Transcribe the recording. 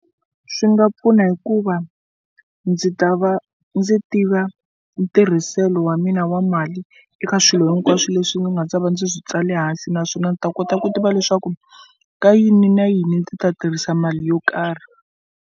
Swi nga pfuna hikuva ndzi ta va ndzi tiva ntirhiselo wa mina wa mali eka swilo hinkwaswo leswi ni nga ta va ndzi swi tsala hansi naswona ndzi ta kota ku tiva leswaku ka yini na yini ndzi ta tirhisa mali yo karhi.